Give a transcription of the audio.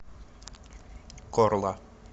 корла